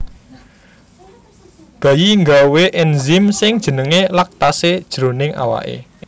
Bayi nggawé enzyme sing jenengé laktase jroning awaké